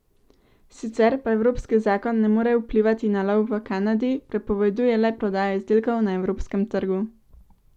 Sicer pa evropski zakon ne more vplivati na lov v Kanadi, prepoveduje le prodajo izdelkov na evropskem trgu.